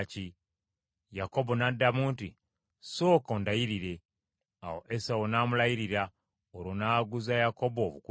Yakobo n’addamu nti, “Sooka ondayirire.” Awo Esawu n’amulayirira, olwo n’aguza Yakobo obukulu bwe.